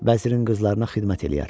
Vəzirin qızlarına xidmət eləyər.